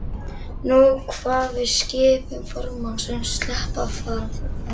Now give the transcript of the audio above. Nú kvað við skipun formannsins: Sleppa að framan!